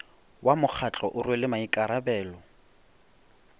wa mokgatlo o rwele maikarabelo